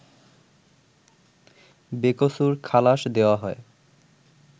বেকসুর খালাশ দেওয়া হয়